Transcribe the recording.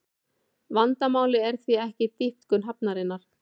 Vandamálið er því ekki dýpkun hafnarinnar